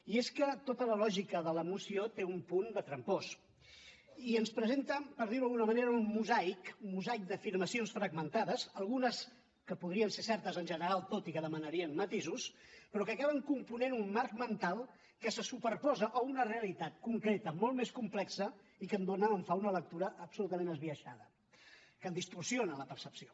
i és que tota la lògica de la moció té un punt de trampós i ens presenten per dir ho d’alguna manera un mosaic un mosaic d’afirmacions fragmentades algunes que podrien ser certes en general tot i que demanarien matisos però que acaben component un marc mental que se superposa a una realitat concreta molt més complexa i que en dona o en fa una lectura absolutament esbiaixada que en distorsiona la percepció